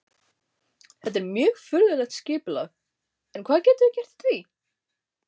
Þetta er mjög furðulegt skipulag en hvað getum við gert í því?